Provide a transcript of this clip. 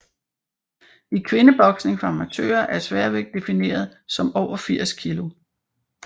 I kvindeboksning for amatører er sværvægt defineret som over 80 kg